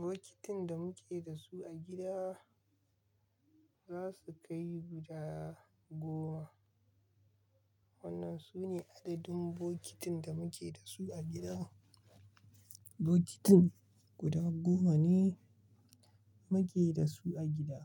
Bokitin da muke da su a gida za su kai guda goma. Wannan sune adadin bokitin da muke da su a gida. Bokitin guda goma ne muke da su a gida.